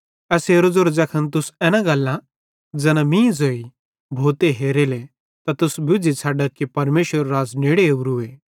एसेरो ज़ेरो ज़ैखन तुस एना गल्लां ज़ैना मीं ज़ोई भोते हेरेले त तुस बुज़्झ़ी छ़ड्डा कि परमेशरेरू राज़ नेड़े ओरूए